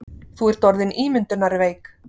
Þú ert orðin ímyndunarveik.